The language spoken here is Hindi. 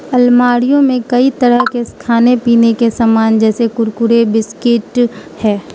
अलमारीयो में कई तरह के खाने पीने के समान जैसे कुरकुरे बिस्किट है।